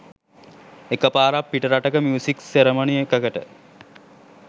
එක පාරක් පිටරටක මියුසික් සෙරමොනි එකකට